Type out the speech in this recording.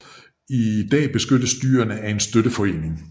I dag beskyttes dyrene af en støtteforening